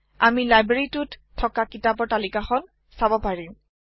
আমি লইব্যাৰীটোত থকা কিতাপৰ তালিকা খন চাব পাৰিম